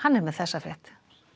er með þessa frétt